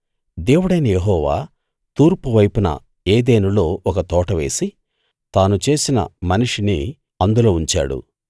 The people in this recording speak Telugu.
దేవుడైన యెహోవా తూర్పువైపున ఏదెనులో ఒక తోట వేసి తాను చేసిన మనిషిని అందులో ఉంచాడు